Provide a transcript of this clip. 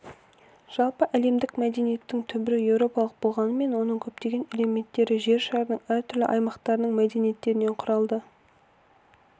жалпыәлемдік мәдениеттің түбірі еуропалық болғанымен оның көптеген элементтері жер шарының әртүрлі аймақтарының мәдениеттерінен құралады